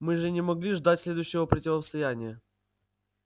мы же не могли ждать следующего противостояния